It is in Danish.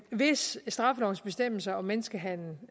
hvis straffelovens bestemmelser om menneskehandel